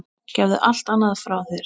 Gefðu allt annað frá þér.